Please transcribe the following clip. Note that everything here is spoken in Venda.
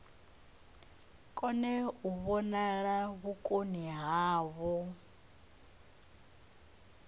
kone u vhonala vhukoni havho